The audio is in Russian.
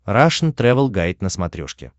рашн тревел гайд на смотрешке